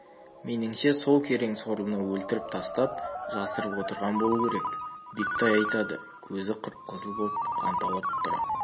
меніңше сол керең сорлыны өлтіріп тастап жасырып отырған болу керек бектай айтады көзі қып-қызыл боп қанталап тұра